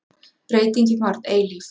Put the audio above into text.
Breytingin varð eilíf.